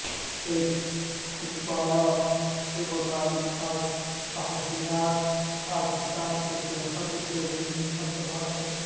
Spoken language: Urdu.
ایک حکمنامہ کے مطابق تعزیرات پاکستان کے تحت جو بھی مقدمات درج